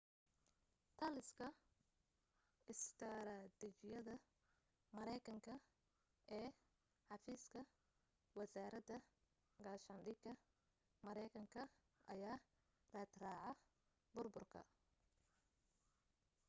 taliska istaraatiijiyadda mareykanka ee xafiiska wasaaradda gaashaandhigga mareykanka ayaa raadraaca burburka